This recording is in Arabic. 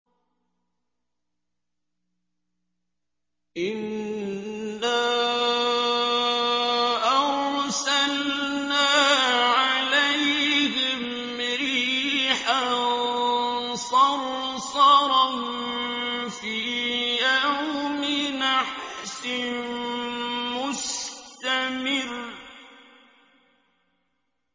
إِنَّا أَرْسَلْنَا عَلَيْهِمْ رِيحًا صَرْصَرًا فِي يَوْمِ نَحْسٍ مُّسْتَمِرٍّ